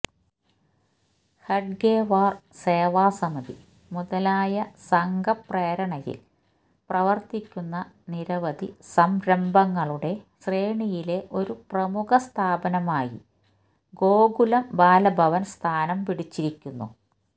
ഹെഡ്ഗേവാര് സേവാസമിതി മുതലായ സംഘപ്രേരണയില് പ്രവര്ത്തിക്കുന്ന നിരവധി സംരംഭങ്ങളുടെ ശ്രേണിയിലെ ഒരു പ്രമുഖ സ്ഥാപനമായി ഗോകുലം ബാലഭവന് സ്ഥാനം പിടിച്ചിരിക്കുന്നു